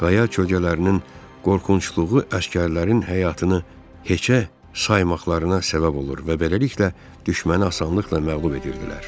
Qaya kölgələrinin qorxunculuğu əsgərlərin həyatını heçə saymaqlarına səbəb olur və beləliklə düşməni asanlıqla məğlub edirdilər.